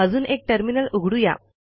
अजून एक टर्मिनल उघडू या